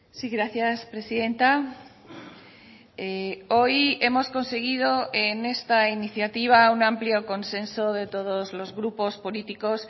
sí gracias presidenta hoy hemos conseguido en esta iniciativa un amplio consenso de todos los grupos políticos